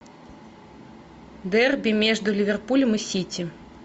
дерби между ливерпулем и сити